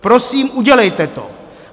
Prosím, udělejte to.